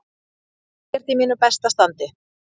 Ég er ekkert í mínu besta standi.